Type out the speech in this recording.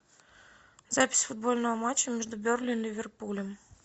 запись футбольного матча между бернли и ливерпулем